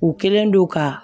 U kɛlen don ka